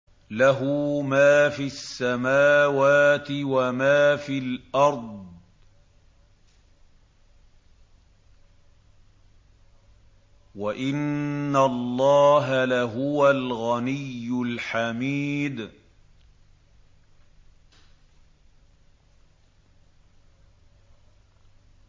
لَّهُ مَا فِي السَّمَاوَاتِ وَمَا فِي الْأَرْضِ ۗ وَإِنَّ اللَّهَ لَهُوَ الْغَنِيُّ الْحَمِيدُ